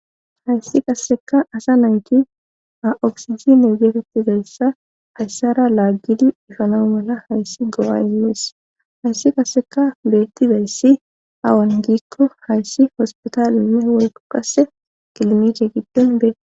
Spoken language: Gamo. hayssi qasseka asa nayti a'oksizine getettizayssa hayssara laaggidi ifanau mala hayssi go'a imees hayssi qasseka beettizayssi awan giikko hayssi hospitaaline woyikko qase kilinikke giddon beetes